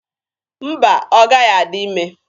Mba, ọ gaghị adị ime.